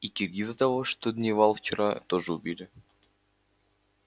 и киргиза того что дневалил вчера тоже убили